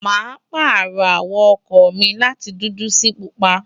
mo pààrọ̀ àwọ̀ ọkọ̀ mi láti dúdú sí pupa